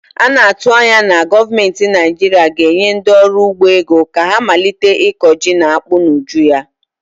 A na-atụ anya na gọọmentị Naijiiria ga-enye ndị ọrụ ugbo ego ka ha malite ịkọ ji na akpụ n'ụjụ ya.